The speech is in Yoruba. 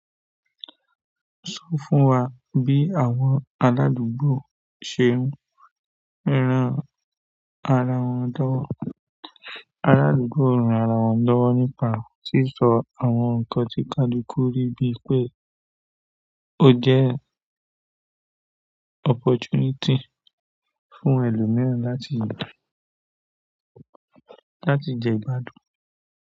Sọ fún wa bí àwọn aládùúgbò ṣe ń ràn ara wọn lọ́wọ́. Aládùúgbò ń ran ara wọn lọ́wọ́ nípa sísọ àwọn nǹkan tí kaluku ri bíi pé ó jẹ́ opportunity fún ẹlòmíràn láti, láti jẹ ìgbádùn.